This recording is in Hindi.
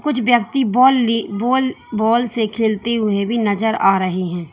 कुछ ब्यक्ति बॉल ली बॉल बॉल से खेलते हुए भी नजर आ रहे हैं।